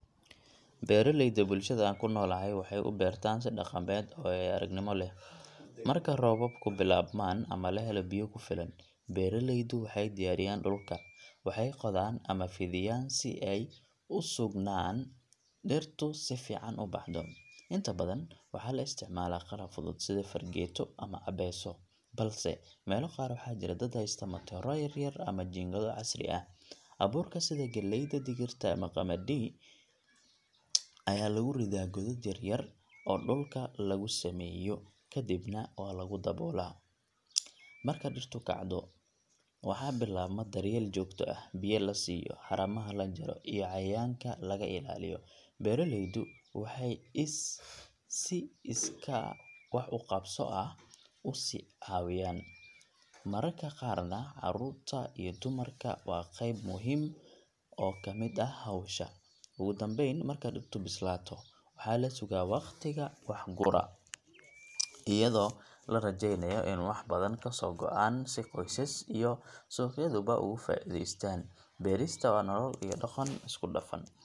Beeraleyda bulshada aan ku noolahay waxay u beertaan si dhaqameed oo waayo-aragnimo leh. Marka roobabku bilaabmaan ama la helo biyo ku filan, beeraleydu waxay diyaariyaan dhulka waxay qodaan ama fidiyaan si ay u sugnaan in dhirtu si fiican u baxdo. Inta badan waxaa la isticmaalaa qalab fudud sida fargeeto ama abeeso, balse meelo qaar waxaa jira dad haysta matooro yar yar ama jiingado casri ah. Abuurka sida galleyda, digirta, ama qamadi ayaa lagu ridaa godad yaryar oo dhulka lagu sameeyo, kadibna waa lagu daboola. Marka dhirtu kacdo, waxaa bilaabma daryeel joogto ah—biyo la siiyo, haramaha la jaro, iyo cayayaanka laga ilaaliyo. Beeraleydu waxay iska si iskaa wax u qabso ah usi caawiyaan, mararka qaarna caruurta iyo dumarku waa qayb muhiim ah oo ka mid ah howsha. Ugu dambayn, marka dhirtu bislaato, waxaa la sugaa wakhtiga wax gura, iyadoo la rajeynayo in wax badan kasoo go’aan si qoyska iyo suuqyaduba uga faa’iidaystaan. Beerista waa nolol iyo dhaqan isku dhafan.